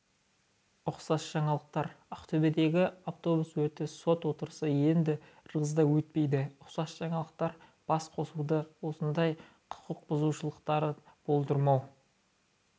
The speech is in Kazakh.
ұқсас жаңалықтар ақтөбедегі автобус өрті сот отырысы енді ырғызда өтпейді ұқсас жаңалықтар басқосуда осындай құқықбұзушылықты болдырмау